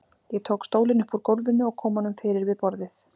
Ég tók stólinn upp úr gólfinu og kom honum fyrir við borðið.